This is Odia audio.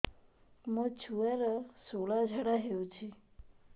ମୋ ଛୁଆର ସୁଳା ଝାଡ଼ା ହଉଚି